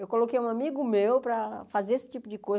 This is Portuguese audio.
Eu coloquei um amigo meu para fazer esse tipo de